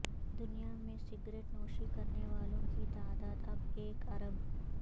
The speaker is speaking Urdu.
دنیا میں سگریٹ نوشی کرنے والوں کی تعداد اب ایک ارب